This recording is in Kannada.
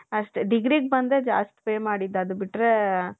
ಅಷ್ಟೆ degree ಗ್ ಬಂದ್ರೆ ದ್ಯಸ್ಥಿ pay ಮಾಡಿದು ಅದು ಬಿಟ್ರೆ